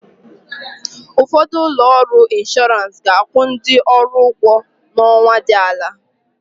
Ụfọdụ ụlọ ọrụ inshọrans ga-akwụ ndị ọrụ ụgwọ ọnwa dị ala.